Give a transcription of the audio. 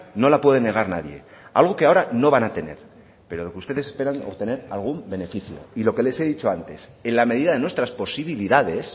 no la puede negar nadie algo que ahora no van a tener pero lo que ustedes esperan obtener algún beneficio y lo que les he dicho antes en la medida de nuestras posibilidades